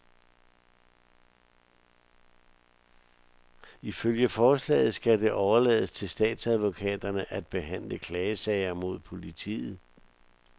Ifølge forslaget skal det overlades til statsadvokaterne at behandle klagesager mod politiet.